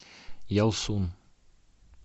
ялсун